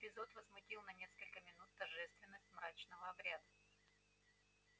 этот эпизод возмутил на несколько минут торжественность мрачного обряда